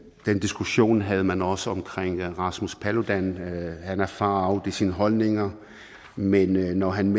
den diskussion havde man også omkring rasmus paludan han er far out i sine holdninger men når han